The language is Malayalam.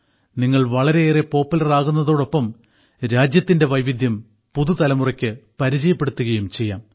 നിങ്ങൾ വളരെയേറെ പോപ്പുലർ ആകുന്നതോടൊപ്പം രാജ്യത്തിന്റെ വൈവിധ്യം പുതുതലമുറയ്ക്ക് പരിചയപ്പെടുത്തുകയും ചെയ്യാം